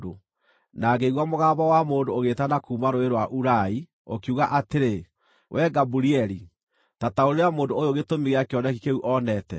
Na ngĩigua mũgambo wa mũndũ ũgĩĩtana kuuma Rũũĩ rwa Ulai, ũkiuga atĩrĩ, “Wee Gaburieli, ta taũrĩra mũndũ ũyũ gĩtũmi gĩa kĩoneki kĩu onete.”